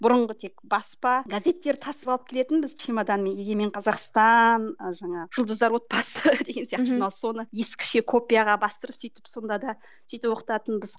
бұрынғы тек баспа газеттер тасып алып келетінбіз чемоданмен егемен қазақстан і жаңағы жұлдыздар отбасы деген сияқты журнал соны ескіше копияға бастырып сөйтіп сонда да сөйтіп оқытатынбыз